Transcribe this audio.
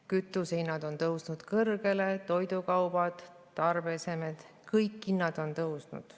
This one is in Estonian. Kütusehinnad on tõusnud kõrgele, ka toidukaubad ja tarbeesemed – kõik hinnad on tõusnud.